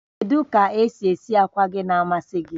Kedu ka esi esi akwa gị na-amasị gị?